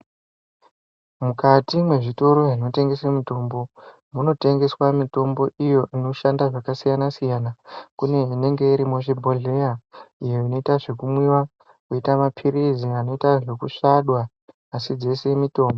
mukati mwezvitoro zvinotengese mitombo munotengeswa mitombo iyo inoshanda zvakasiyana-siyana. Kune inenge iri muzvibhodhleya iyo inoita zvekumwiva inoita maphirizi anoita zvekusvadwa asi dzese mitombo.